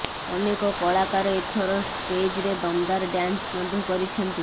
ଅନେକ କଳାକାର ଏଥର ଷ୍ଟେଜ୍ରେ ଦମଦାର ଡାନ୍ସ ମଧ୍ୟ କରିଛନ୍ତି